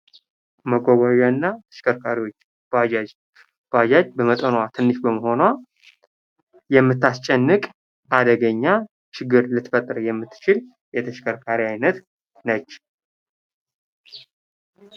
መጓጓዣ እና ተሽከርካሪዎች፦ ባጃጅ ፦ባጃጅ በመጠኗ ትንሽ በመሆኗ የምታስጨንቅ አደገኛ ችግር ልትፈጥር የምትችል የተሽከርካሪ አይነት ነች።